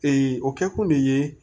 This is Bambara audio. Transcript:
o kɛkun de ye